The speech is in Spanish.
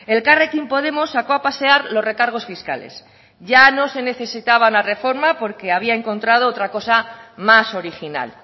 elkarrekin podemos sacó a pasear los recargos fiscales ya no se necesitaban la reforma porque había encontrado otra cosa más original